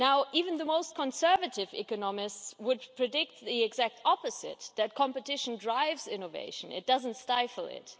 Even the most conservative economists would predict the exact opposite, namely that competition drives innovation and doesn't stifle it.